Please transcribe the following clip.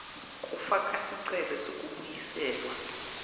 kufaka sicelo sekubuyiselwa